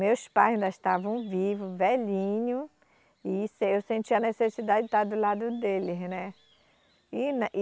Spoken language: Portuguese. Meus pais ainda estavam vivos, velhinho, e isso aí eu sentia a necessidade de estar do lado deles, né? E na e